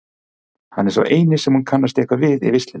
Hann er sá eini sem hún kannast eitthvað við í veislunni.